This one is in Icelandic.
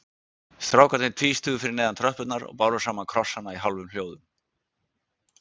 Strákarnir tvístigu fyrir neðan tröppurnar og báru saman krossana í hálfum hljóðum.